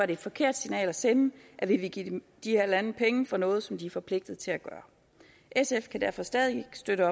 det et forkert signal at sende at vi vil give de her lande penge for noget som de er forpligtet til at gøre sf kan derfor stadig ikke støtte